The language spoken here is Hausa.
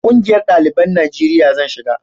ƙungiyar daliban najeriya zan shiga